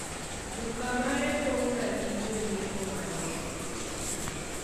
duka mare pong' ga gi jonyiepo mang'eny